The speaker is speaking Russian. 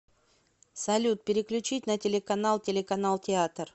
салют переключить на телеканал телеканал театр